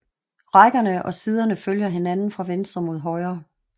Rækkerne og siderne følger hinanden fra venstre mod højre